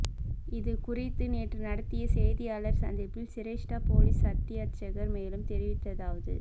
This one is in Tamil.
இது குறித்து நேற்று நடத்திய செய்தியாளர் சந்திப்பில் சிரேஷ்ட பொலிஸ் அத்தியட்சகர் மேலும் தெரிவித்ததாவது